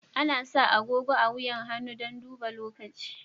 Ana sa agogo a wuyan hannu dan daban lokaci.